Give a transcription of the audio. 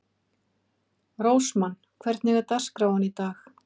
Rósmann, hvernig er dagskráin í dag?